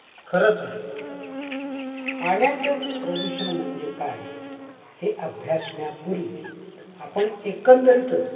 खरच आहे. पाण्याचे प्रदूषण म्हणजे काय हे अभ्यासण्यापूर्वी आपण एकंदरीतच